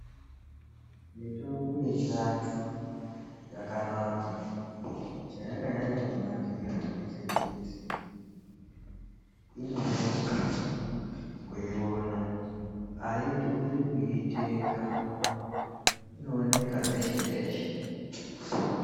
Mitombo yechiantu yakanaka chayakanyanya kunakira ngechekuti inoreruka kuiona aidhuri kuitenga inooneka peshe peshe.